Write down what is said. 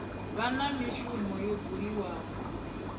vha na mishumo yo buliwaho